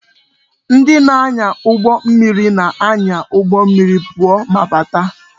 Ndị na-anya ụgbọ mmiri na-anya ụgbọ mmiri pụọ ma bata